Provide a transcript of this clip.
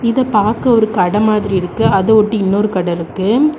இத பாக்க ஒரு கடை மாதிரி இருக்கு அதை ஒட்டி இன்னொரு கடை இருக்கு.